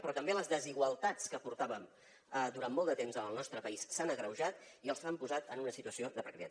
però també les desigualtats que portàvem durant molt de temps en el nostre país s’han agreujat i els han posat en una situació de precarietat